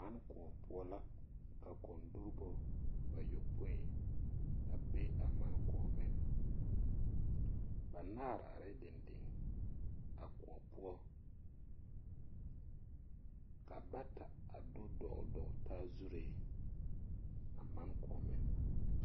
Mane kõɔ poɔ la ka kɔndoɡiribo bayoɔpoe a be a mane kõɔmeŋ banaare arɛɛ dendeŋ a kõɔ poɔ ka bata a do dɔɔldɔɔle taa zuree a mane kõɔmeŋ.